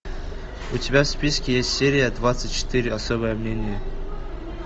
у тебя в списке есть серия двадцать четыре особое мнение